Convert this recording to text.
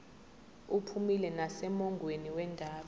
uphumile nasemongweni wendaba